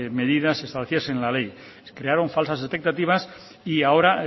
medidas establecidas en la ley crearon falsas expectativas y ahora